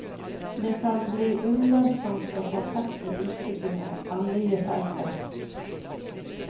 Det kan bli ulønnsomt å fortsette utbyggingen av nye felter.